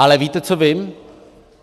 Ale víte, co vím?